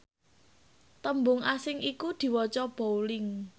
tembung asing iku diwaca bowling